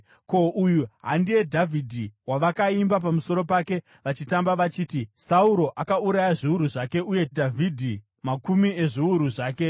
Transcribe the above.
Ko, uyu handiye Dhavhidhi wavakaimba pamusoro pake vachitamba vachiti: “ ‘Sauro akauraya zviuru zvake, uye Dhavhidhi makumi ezviuru zvake’?”